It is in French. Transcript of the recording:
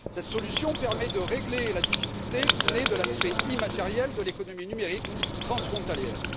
Cette solution permet de régler la difficulté qui naît de l'aspect immatériel de l'économie numérique transfrontalière.